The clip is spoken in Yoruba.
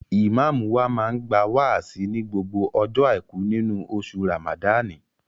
Ìmáàmù wa máa ń gba wáàsí ní gbogbo ọjọ́ Àìkú nínú oṣù Ràmàdáànì